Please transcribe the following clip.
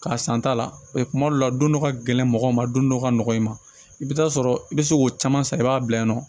K'a san ta la kuma dɔw la don dɔ ka gɛlɛn mɔgɔw ma don dɔ ka nɔgɔn i ma i bɛ taa sɔrɔ i bɛ se k'o caman san i b'a bila yen nɔ